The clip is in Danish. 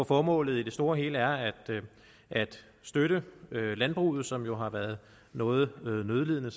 formålet i det store og hele er at støtte landbruget som jo har været noget nødlidende